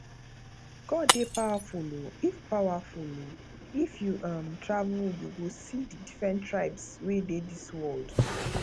god dey powerful oo if powerful oo if you um travel you go see the different tribes wey dey dis world